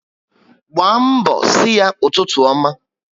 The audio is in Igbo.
Gbaa mbọ si ya ụtụtụ ọma